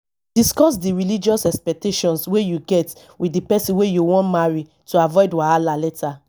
discuss di religious expectations wey you get with di person wey you wan marry to avoid wahala later